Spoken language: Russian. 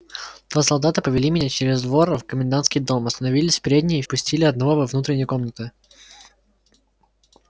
два солдата повели меня через двор в комендантский дом остановились в передней и впустили одного во внутренние комнаты